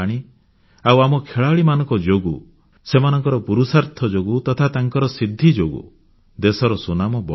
ଆଉ ଆମ ଖେଳାଳିମାନଙ୍କ ଯୋଗୁଁ ସେମାନଙ୍କ ପୁରୁଷାର୍ଥ ଯୋଗୁଁ ତଥା ତାଙ୍କର ସିଦ୍ଧି ଯୋଗୁଁ ଦେଶର ସୁନାମ ବଢ଼ୁଛି